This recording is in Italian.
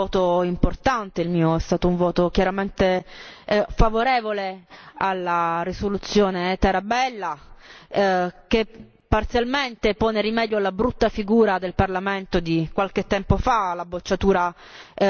Il mio è stato un voto chiaramente favorevole alla risoluzione Tarabella, che parzialmente pone rimedio alla brutta figura del Parlamento di qualche tempo fa, la bocciatura della risoluzione Estrela.